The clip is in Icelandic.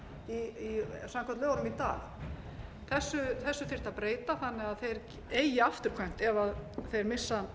samkvæmt lögum í dag þessu þyrfti að breyta þannig að þeir eigi afturkvæmt ef þeir missa